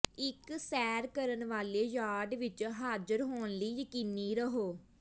ਇੱਕ ਸੈਰ ਕਰਨ ਵਾਲੇ ਯਾਰਡ ਵਿੱਚ ਹਾਜ਼ਰ ਹੋਣ ਲਈ ਯਕੀਨੀ ਰਹੋ